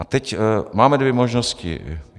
A teď: máme dvě možnosti.